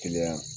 Kiliyan